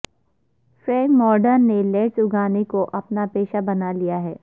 Frank Morton نے lettuce اگانے کو اپنا پیشہ بنا لیا ہے